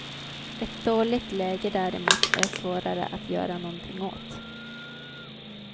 Ett dåligt läge däremot är svårare att göra nånting åt.